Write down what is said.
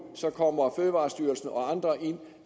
så kommer fødevarestyrelsen og andre